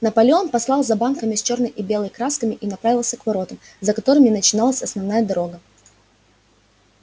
наполеон послал за банками с чёрной и белой красками и направился к воротам за которыми начиналась основная дорога